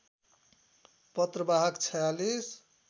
पत्र वाहक ४६